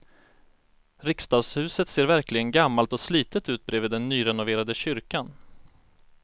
Riksdagshuset ser verkligen gammalt och slitet ut bredvid den nyrenoverade kyrkan.